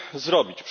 zrobić?